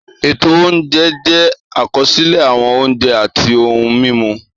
Ètò oúnjẹ jẹ́ àkọsílẹ̀ àwọn oúnjẹ àti ohun-mímu